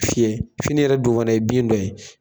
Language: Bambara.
Fiyɛ fini yɛrɛ dun fana ye bin dɔ ye.